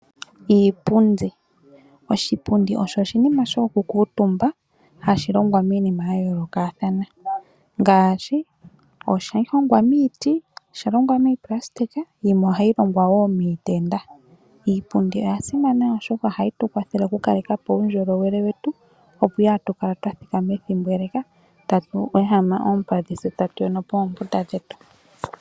Iipundi Oshipundi osho oshinima shokukuutumba hashi longwa miinima ya yoolokathana ngaashi: ohashi hongwa miiti, osha longwa miipulasitika yimwe ohayi longwa wo miitenda. Iipundi oya simana, oshoka ohayi tu kwathele okukaleka po uundjolowele wetu, opo kaatu kale twa thikama ethimbo ele tatu ehama oompadhi tse tatu yono po oombunda dhetu.